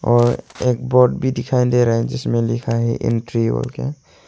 और एक बोर्ड भी दिखाई दे रहा है। जिस में लिखा है एंट्री बोलके--